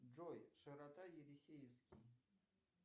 джой широта елисеевский